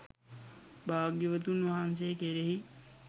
භාග්‍යවතුන් වහන්සේ කෙරෙහි